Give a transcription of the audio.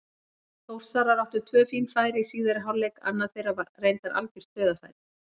Þórsarar áttu tvö fín færi í síðari hálfleik, annað þeirra var reyndar algjört dauðafæri.